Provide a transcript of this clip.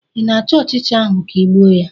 ị na-achọ ọchịcha ahụ ka ị gbuo ya?